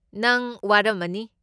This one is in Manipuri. ꯅꯪ ꯋꯥꯔꯝꯃꯅꯤ꯫